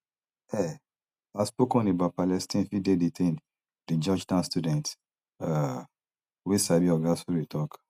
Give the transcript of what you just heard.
um outspoken about palestine fit dey detained di georgetown student um wey sabi oga suri tok